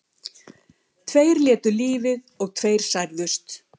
Tveir létu lífið og tveir særðust